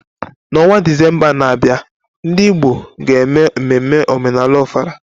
N'ọnwa Disemba na-abịa, ndị Igbo ga-eme mmemme omenala Ofala.